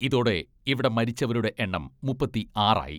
ഇതോടെ ഇവിടെ മരിച്ചവരുടെ എണ്ണം മുപ്പത്തി ആറായി .